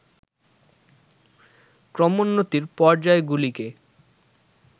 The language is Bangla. ক্রমোন্নতির পর্যায়গুলিকে